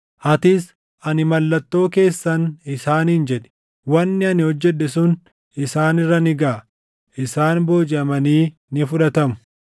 Atis, ‘Ani mallattoo keessan’ isaaniin jedhi. “Wanni ani hojjedhe sun isaan irra ni gaʼa. Isaan boojiʼamanii ni fudhatamu.